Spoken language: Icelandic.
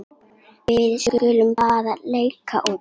Við skulum bara leika úti.